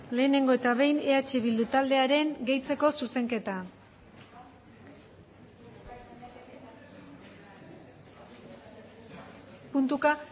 lehenengo eta behin eh bildu taldearen gehitzeko zuzenketa puntuka